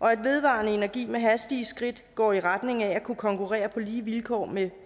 og at vedvarende energi med hastige skridt går i retning af at kunne konkurrere på lige vilkår med